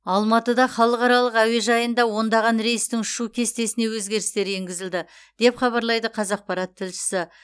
алматыда халықаралық әуежайында ондаған рейстің ұшу кестесіне өзгерістер енгізілді деп хабарлайды қазақпарат тілшісі